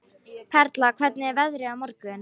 Perla, hvernig er veðrið á morgun?